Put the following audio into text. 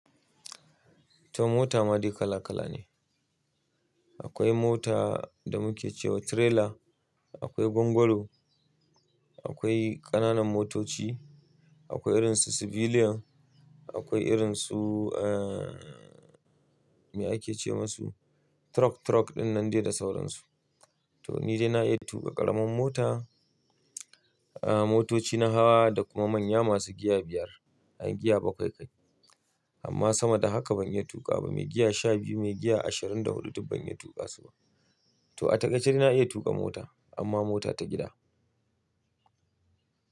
To mota ma dai kala kala ne. Akwai mota da muke cewa trailer, akwai gwangwalo, akwai ƙananan motoci, akwai irinsu civilian, akwai irinsu aa me ake ce musu? Truck, truck dinnan dai da sauransu. To ni dai na iya tuƙa ƙaramin mota, aa motoci na hawa da kuma manya masu giya biyar, an giya bakwai kai. Amma sama da haka ban iya tuƙa ba, mai giya shabiyu, mai giya ashirin da huɗu duk ban iya tuƙa su ba. To a taƙaice dai na iya tuƙa mota amma mota ta gida.